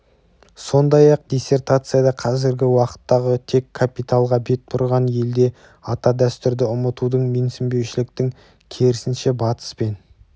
сондай-ақ диссертацияда қазіргі уақыттағы тек капиталға бет бұрған елде ата дәстүрді ұмытудың менсінбеушіліктің керісінше батыс пен